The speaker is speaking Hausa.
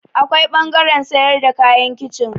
Akwai ɓangaren sayar da kayan kicin.